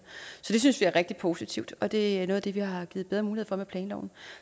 så det synes vi er rigtig positivt og det er noget af det vi har givet bedre mulighed for med planloven